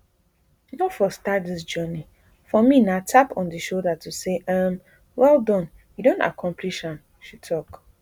no for start dis journey for me na tap on di shoulder to say um wellAccepted you don accomplish am she tok